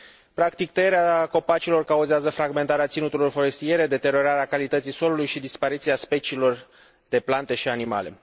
Practic, tăierea copacilor cauzează fragmentarea ținuturilor forestiere, deteriorarea calității solului și dispariția speciilor de plante și animale.